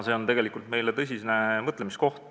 See on meile tõsine mõtlemiskoht.